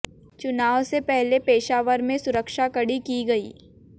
चुनाव से पहले पेशावर में सुरक्षा कड़ी की गई